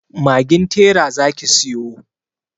Magin tera zaki siyo.